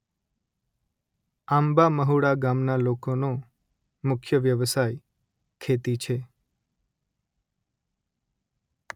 આંબા મહુડા ગામના લોકોનો મુખ્ય વ્યવસાય ખેતી છે